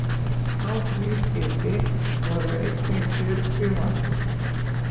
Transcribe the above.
Á því skipi voru einnig fjörutíu manns.